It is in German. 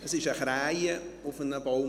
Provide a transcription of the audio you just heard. Es sass eine Krähe auf dem Baum.